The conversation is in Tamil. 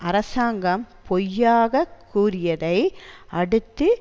அரசாங்கம் பொய்யாகக் கூறியதை அடுத்து